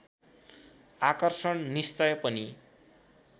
आकर्षण निश्चय पनि